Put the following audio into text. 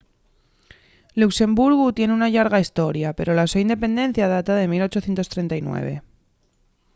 luxemburgu tien una llarga hestoria pero la so independencia data de 1839